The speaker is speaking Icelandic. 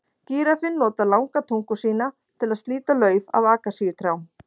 Gíraffinn notar langa tungu sína til að slíta lauf af akasíutrjám.